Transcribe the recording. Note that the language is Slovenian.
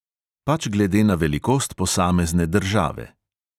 Pač glede na velikost posamezne države.